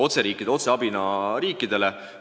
See läks otseabina Aafrika maadele.